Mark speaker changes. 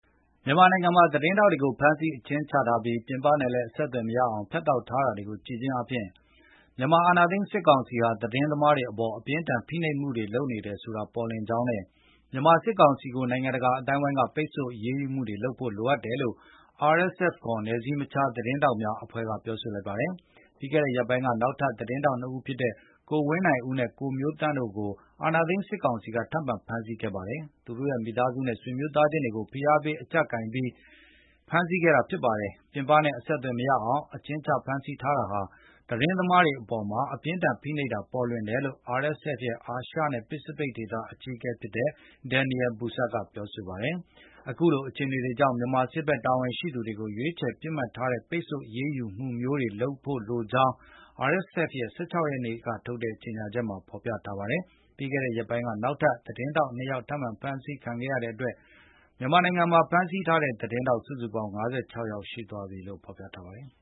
Speaker 1: မြန်မာနိုင်ငံမှာ သတင်းထောက်တွေကို ဖမ်းဆီးအကျဉ်းချထားပြီး၊ ပြင်ပနဲ့လည်းအဆက်အသွယ်မရအောင်ဖြတ်ထောက်ထားတာတွေကိုကြည့်ခြင်းအားဖြင့် မြန်မာအာဏာသိမ်းစစ်ကောင်စီဟာ သတင်းသမားတွေအပေါ် အပြင်းအထန်ဖိနှပ်မှုတွေ လုပ်နေတယ်ဆိုတာပေါ်လွင်ကြောင်း နဲ့ မြန်မာစစ်ကောင်စီကို နိုင်ငံတကာအသိုင်းအဝိုင်းက ပိတ်ဆို့အရေးယူမှုတွေလုပ်ဖို့ လိုအပ်တယ်လို့ RSF ခေါ် နယ်စည်းမခြားသတင်းထောက်များ အဖွဲ့မှပြောဆိုလိုက်ပါတယ်။ ပြီးခဲ့တဲ့ရက်ပိုင်းက နောက်ထပ် သတင်းထောက်နှစ်ဦးဖြစ်တဲ့ ကိုဝင်းနိုင်ဦးနဲ့ ကိုမျိုးသန့်တို့ကို အာဏာသိမ်းစစ်ကောင်စီကထပ်မံဖမ်းဆီးခဲ့ပါတယ်။ သူတို့ရဲ့မိသားစုနဲ့ ဆွေမျိုးသားချင်းတွေကို ဖိအားပေးအကြပ်ကိုင်ဖမ်းဆီးပြီး၊ ပြင်ပနဲ့အဆက်အသွယ်မရအောင် အကျဉ်းချဖမ်းဆီးထားတာဟာ သတင်းသမားတွေအပေါ်မှာ အပြင်းအထန်ဖိနှိပ်နေတာဟာပေါ်လွင်ကြောင်း RSF ရဲ့ အာရှနဲ့ပစ္စဖိတ်ဒေသ အကြီးအကဲ Daniel Bastard ကပြောဆိုပါတယ်။ အခုလို အခြေအနေတွေကြောင့် မြန်မာစစ်ဘက် တာဝန်ရှိသူတွေကို ရွေးချယ်ပစ်မှတ်ထားတဲ့ ပိတ်ဆို့အရေးယူမှုမျိုးလုပ်ဖို့လိုကြောင်းကိုလည်း RSF ရဲ့ ၁၆ ရက်နေ့ကထုတ်တဲ့ကြေငြာချက်မှာဖေါ်ပြထားပါတယ်။ ပြီးခဲ့တဲ့ရက်ပိုင်းက နောက်ထပ် သတင်းထောက်နှစ်ယောက်ထပ်မံဖမ်းဆီးခံခဲ့ရတဲ့အတွက် မြန်မာနိုင်ငံမှာ ဖမ်းဆီးထားတဲ့သတင်းထောက် စုစုပေါင်း ၅၆ ယောက်ရှိသွားပြီလို့လည်း ဖော်ပြပါတယ်။